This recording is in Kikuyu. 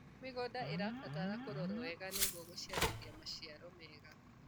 mĩgũnda irabatara kũrorwo wega nĩguo gũciarithia maciaro mega